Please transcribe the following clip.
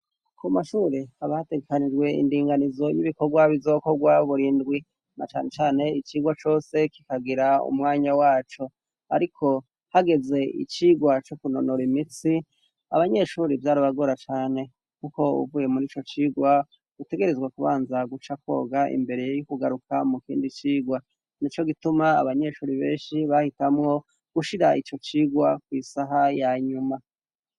ku mashure aba hategekanijwe indinganizo y'ibikorwa bizokorwa burindwi na cane cyane icigwa cose kikagira umwanya waco ariko hageze icigwa co kunonora imitsi abanyeshuri byari bagora cane kuko uvuye muri ico cigwa utegerezwa kubanza guca koga imbere y'u kugaruka mu kindi cigwa ni co gituma abanyeshuri benshi bahitamo gushira icyo cigwa kwisaha ya nyuma